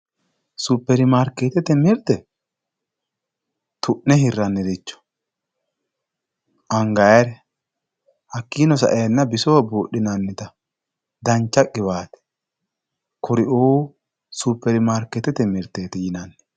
superimaarikeettete mirte tu'ne hirranniricho angayiire hakkiino sa"eenna bisoho buudhinannita dancha qiwaate kuri"uu superimaarikeettete mirteeti yinanni.